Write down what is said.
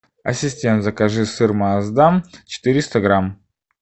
ассистент закажи сыр маасдам четыреста грамм